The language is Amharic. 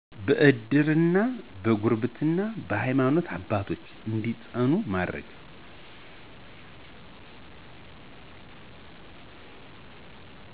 በእድር፣ በጉርብትና እና በሀይማኖት አባቶች እንዲፅናኑ ማድረግ